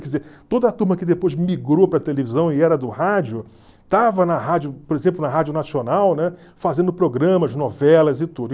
Quer dizer, toda a turma que depois migrou para a televisão e era do rádio, estava na rádio, por exemplo, na Rádio Nacional, né fazendo programas, novelas e tudo.